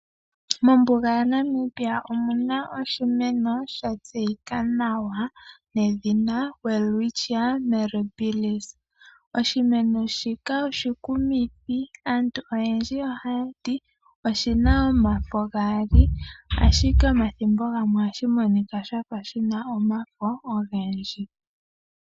Mombuga yaNamibia omu na oshimeno sha tseyika nawa nedhina Welwitchia Mirrabils. Oshimeno shika oshikumithi aantu oyendji ohaya ti oshi na omafo gaali ashike omathimbo gamwe ohashi monika sha fa shi na omafo ogendji.